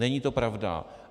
Není to pravda.